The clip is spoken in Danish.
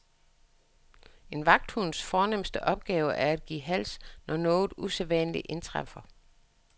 En vagthunds fornemste opgave er at give hals, når noget usædvanligt indtræffer.